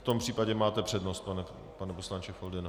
V tom případě máte přednost, pane poslanče Foldyno.